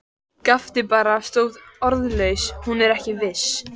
Gapti bara, stóð orðlaus, hún er ekki viss.